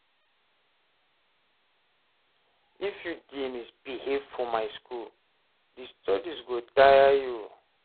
if you dey misbehave for my school, di studies go tire you